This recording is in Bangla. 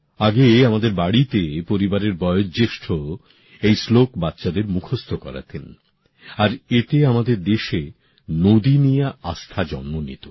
আগে আমাদের বাড়িতে পরিবারের বয়োজ্যেষ্ঠ এই শ্লোক বাচ্চাদের মুখস্থ করাতেন আর এতে আমাদের দেশে নদী নিয়ে আস্থা জন্ম নিত